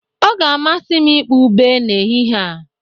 Ọ ga-amasị m ịkpọ ube n'ehihie a